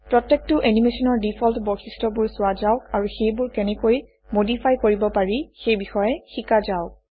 প্ৰত্যেকটো এনিমেচনৰ ডিফল্ট বৈশিষ্ট্যবোৰ চোৱা যাওক আৰু সেইবোৰ কেনেকৈ মডিফাই কৰিব পাৰি সেই বিষয়ে শিকা যাওক